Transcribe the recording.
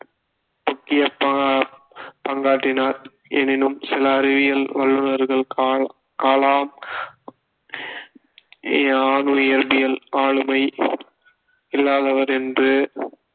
முக்கிய பா~ பங்காற்றினார் எனினும் சில அறிவியல் வல்லுனர்கள் கா~ கலாம் அணு இயற்பியல் ஆளுமை இல்லாதவர் என்று